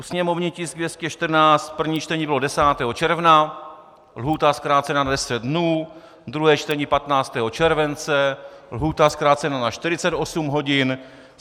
U sněmovního tisku 214 první čtení bylo 10. června, lhůta zkrácena na 10 dnů, druhé čtení 15. července, lhůta zkrácena na 48 hodin.